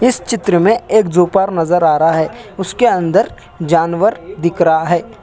इस चित्र में एक ज़ू पार नजर आ रहा है उसके अंदर जानवर दिख राहा है।